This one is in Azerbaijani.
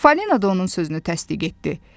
Falina da onun sözünü təsdiq etdi.